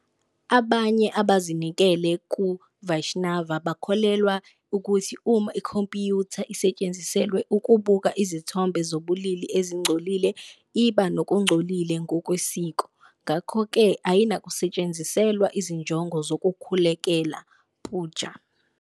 Abanye abazinikele kuVaishnava bakholelwa ukuthi uma ikhompiyutha isetshenziselwa ukubuka izithombe zobulili ezingcolile iba ngokungcolile ngokwesiko, ngakho-ke ayinakusetshenziselwa izinjongo zokukhulekela, puja.